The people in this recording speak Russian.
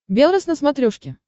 белрос на смотрешке